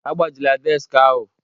Agbajila deski ahụ!